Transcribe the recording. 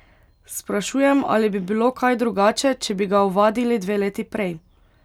Sprašujem, ali bi bilo kaj drugače, če bi ga ovadili dve leti prej?